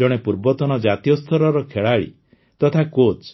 ଜଣେ ପୂର୍ବତନ ଜାତୀୟ ସ୍ତରର ଖେଳାଳି ତଥା କୋଚ୍